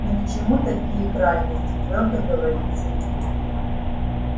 ни к чему такие крайности твёрдо говорит сергей